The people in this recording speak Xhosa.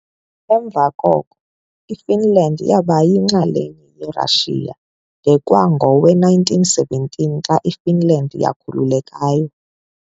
Emva koko, iFinland yaba yinxalenye yeRashiya de kwangowe-1917 xa iFinland yakhululekayo.